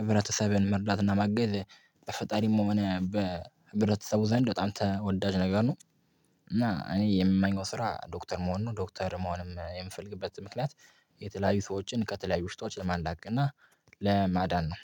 ህብረተሰብን መርዳትና ማገዝ በፈጣሪም ሆነ በህብረተሰቡ ዘንድ በጣም ተወዳጅ ነገር ነው። እና እኔ የምመኘው ስራ ዶክተር መሆን ነው። ዶክተር መሆንም የምፈልግበት ምክንያት የተለያዩ ሰዎችን ከተለያዩ በሽታዎች ለማላቀቅ እና ለማዳን ነው።